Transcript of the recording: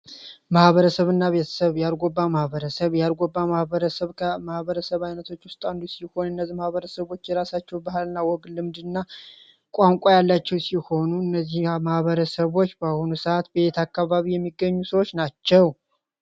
መህበረሰብ እና ቤተሰብ የአርጎባ ማህበረሰብ የአርጎባ ማህበረሰብ ከማህበረሰብ ዓይነቶች ውስጣንዱ ሲሆን እነዚህ ማሀበረሰቦች የራሳቸው ባህል ና ወግ ልምድ እና ቋንቋ ያላቸው ሲሆኑ እነዚህ ማሕበረሰቦች በአሆኑ ሰዓት ቤት አካባቢ የሚገኙ ሰዎች ናቸው፡፡